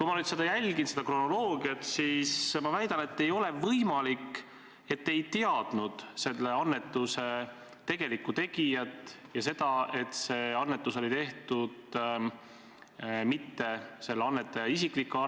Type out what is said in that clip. Kui ma nüüd jälgin kronoloogiat, siis ma väidan seda: ei ole võimalik, et te ei teadnud selle annetuse tegelikku tegijat ja seda, et annetust ei olnud tehtud mitte annetaja isiklike